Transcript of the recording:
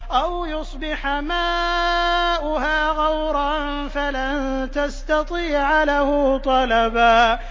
أَوْ يُصْبِحَ مَاؤُهَا غَوْرًا فَلَن تَسْتَطِيعَ لَهُ طَلَبًا